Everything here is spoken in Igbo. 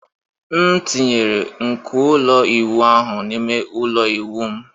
M tinyere nko ụlọ ịwụ ahụ n'ime ụlọ ịwụ m...